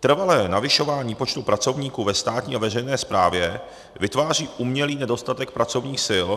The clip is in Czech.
Trvalé navyšování počtu pracovníků ve státní a veřejné správě vytváří umělý nedostatek pracovních sil